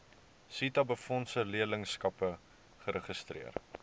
setabefondse leerlingskappe geregistreer